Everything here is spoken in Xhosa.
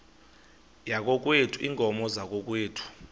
yakokwethu iinkomo zakokwethu